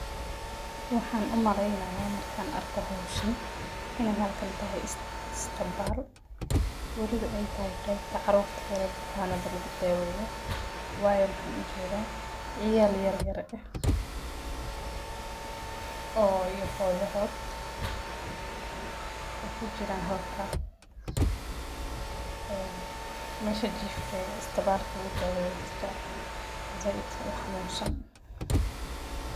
Waxaan u malaynaya markan arko hawshan inay halkan tahay istabal oo waliba ay tahay qaybta carurta yar ee bukanada lagu daaweyo waayo waxaan u jeeda ciyal yaryar iyo hooyadood oo kuijran halka mesha jiifka ee istabalka lagu daweyo dadka zaiid u xanunsan.